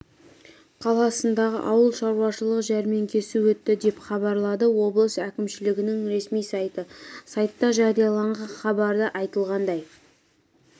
қаласындағы ауыл шаруашылығы жәрмеңкесі өтті деп хабарлады облыс әкімшілігінің ресми сайты сайтта жарияланған хабарда айтылғандай